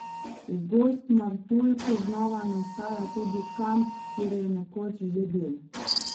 V Gozd Martuljku znova nastaja tudi kamp, kjer je nekoč že bil.